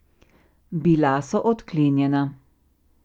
Bila so odklenjena.